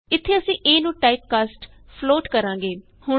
ਇਥੇ ਅਸੀਂ a ਨੂੰ ਟਾਈਪਕਾਸਟ ਫਲੋਟ ਕਰਾਂਗੇ